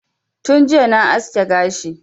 Tun jiya na aske gashi